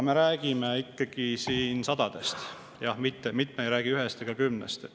Me räägime ikkagi sadadest, mitte ei räägi ühest ega kümnest.